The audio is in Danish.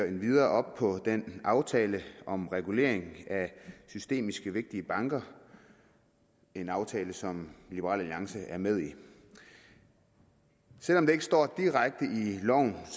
endvidere op på den aftale om regulering af systemiske vigtige banker en aftale som liberal alliance er med i selv om det ikke står direkte